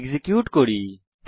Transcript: execute করি